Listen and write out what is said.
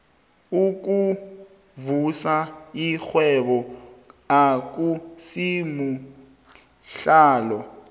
ukuvusa irhwebo akusimuhlalo